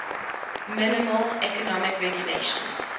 minimal economic regulations